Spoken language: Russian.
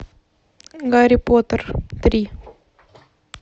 гарри поттер три